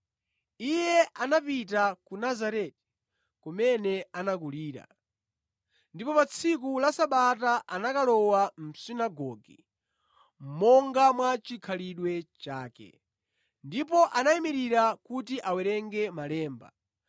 Iye anapita ku Nazareti, kumene anakulira, ndipo pa tsiku la Sabata anakalowa mʼsunagoge, monga mwa chikhalidwe chake. Ndipo anayimirira kuti awerenge malemba.